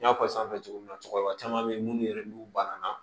N y'a fɔ sanfɛ cogo min na cɛkɔrɔba caman bɛ yen minnu yɛrɛ n'u banana